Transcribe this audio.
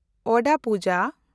ᱚᱣᱫᱟ ᱯᱩᱡᱟ